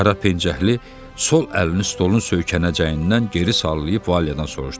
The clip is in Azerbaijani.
Qara pencəkli sol əlini stolun söykənəcəyindən geri sallayıb Valedan soruşdu.